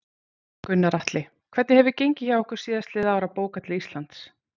Gunnar Atli: Hvernig hefur gengið hjá ykkur síðastliðin ár að bóka til Íslands?